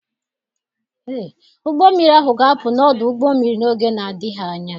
Ụgbọ mmiri ahụ ga-apụ n'ọdụ ụgbọ mmiri n'oge na-adịghị anya.